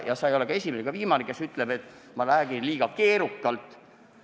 Ja sa ei ole ka esimene ega viimane, kes ütleb, et ma räägin liiga keerukalt.